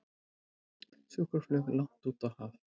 Sjúkraflug langt út í haf